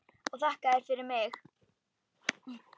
Og þakka þér fyrir mig.